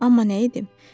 Amma nə edim?